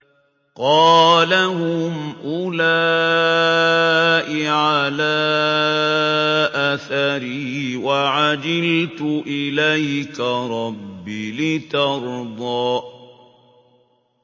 قَالَ هُمْ أُولَاءِ عَلَىٰ أَثَرِي وَعَجِلْتُ إِلَيْكَ رَبِّ لِتَرْضَىٰ